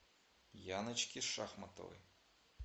яночки шахматовой